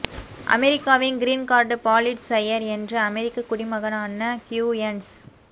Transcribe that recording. அமெரிக்காவின் green card பாலிட் சையர் என்ற அமெரிக்கக் குடிமகனான க்யூயன்ஸ்